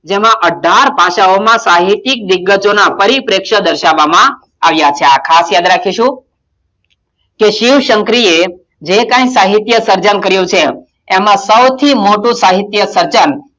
જેમાં અઢાર પાચાઓમાં સાહિતિક વિગતોના પરી - પ્રેક્ષ દર્શાવવામાં આવ્યાં છે આ ખાસ યાદ રાખીશું કે શિવ - શંકરી એ જે કઈ સાહિત્ય સર્જન કર્યું છે એમાં સૌથી મોટું સાહિત્ય સર્જન,